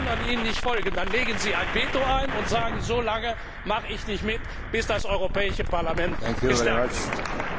Und wenn die anderen Ihnen nicht folgen, dann legen Sie ein Veto ein und sagen So lange mache ich nicht mit, bis das Europäische Parlament gestärkt ist.